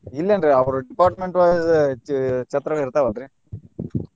ಇಲ್ಲನ್ರೀ ಅವ್ರ department vise ಛ~ ಛತ್ರಗಳ ಇರ್ತಾವಲ್ರಿ .